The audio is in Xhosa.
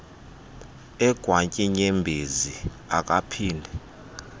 egwantyi iinyembezi akaphinde